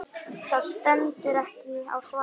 Það stendur ekki á svari.